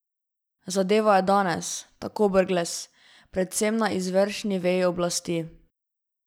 Zadeva je danes, tako Brglez, predvsem na izvršni veji oblasti.